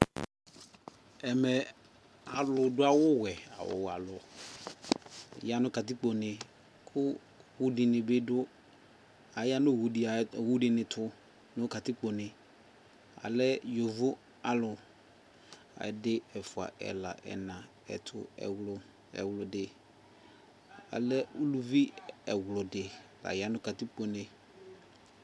Ɛmɛ alu du awu wɛAwu wɛ alu Ya nu katikpo ne ku u dini bi du ka ya nu owu dini tu nu katikpo neAlɛ yovo alu Ɛdi, ɛfua, ɛla, ɛna, ɛtu, ɛwlu, ɛwludiAlɛ uluvi ɛwludi la ya nu katikpo ne